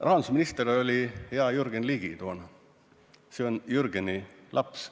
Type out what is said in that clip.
Rahandusminister oli toona hea Jürgen Ligi, see on Jürgeni laps.